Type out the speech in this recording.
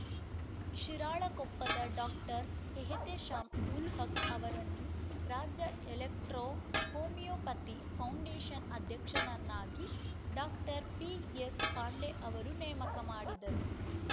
ಶಿರಾಳಕೊಪ್ಪದ doctor Ehtesham ul Haq ಅವರನ್ನು ರಾಜ್ಯ electro homeopathy foundation ಅಧ್ಯಕ್ಷರನ್ನಾಗಿ ಡಾಕ್ಟರ್ ಪಿಎಸ್‌ ಪಾಂಡೆ ಅವರು ನೇಮಕ ಮಾಡಿದರು